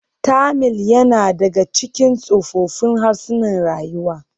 Tamil yana ɗaya daga cikin tsoffin harsunan rayuwa.